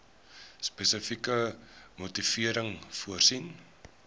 spesifieke motivering voorsien